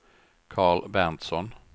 Karl Berntsson